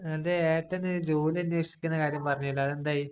നിന്‍റെ എട്ടന് ജോലി അന്വേഷിക്കുന്ന കാര്യം പറഞ്ഞാരുന്നല്ലോ. അതെന്തായി?